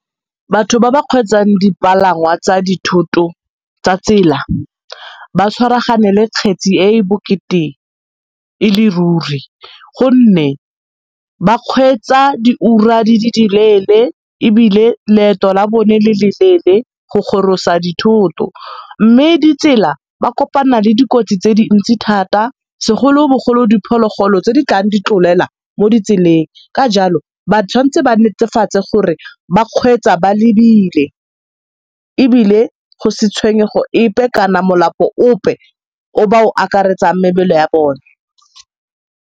Batho ba ba kgweetsang dipalangwa tsa dithoto tsa tsela ba tshwaragane le kgetse e e bokete e le ruri gonne ba kgweetsa diura di le di leele ebile leeto la bone le le leele go gorosa dithoto mme ditsela ba kopana le dikotsi tse dintsi thata segolo bogolo diphologolo tse di tlang di tlolela mo ditseleng ka jalo ba tshwanetse ba netefatse gore ba kgweetsa ba lebile ebile go se tshwenyego epe kana melapo ope o ba o okaretsang mebele ya bone.